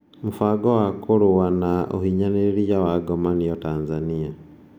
Mũbango wa kũrũa na ũhinyanĩrĩria wa ngomanio Tanzania